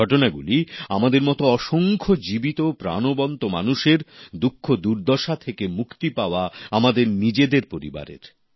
এই ঘটনাগুলি আমাদের মত অসংখ্য জীবিত প্রাণবন্ত মানুষের দুঃখদুর্দশা থেকে মুক্তি পাওয়া আমাদের নিজেদের পরিবারের